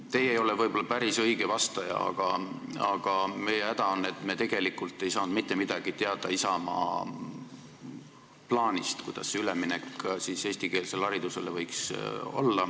Teie ei ole võib-olla päris õige vastaja, aga meie häda on, et me tegelikult ei saanud mitte midagi teada Isamaa plaanist, kuidas see üleminek eestikeelsele haridusele võiks toimuda.